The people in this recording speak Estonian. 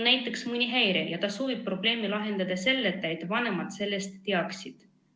on mõni häire ja ta soovib probleemi lahendada ilma, et vanemad sellest teaksid.